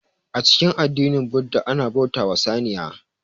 A cikin addinin budda ana bauta wa saniya